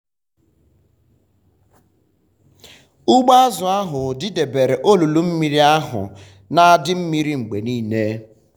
ugbo azụ ụlọ ahụ didebere olulu mmiri ahụ na-adị mmiri mgbe niile.